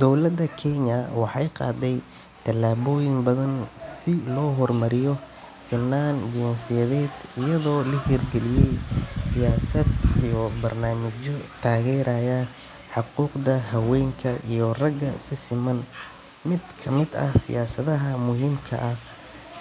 Dowladda Kenya waxay qaaday tallaabooyin badan si loo horumariyo sinnaan jinsiyadeed iyadoo la hirgeliyay siyaasad iyo barnaamijyo taageeraya xuquuqda haweenka iyo ragga si siman. Mid ka mid ah siyaasadaha muhiimka ah